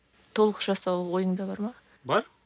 толық жасау ойыңда бар ма бар